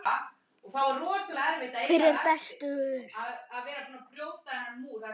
Hver er bestur?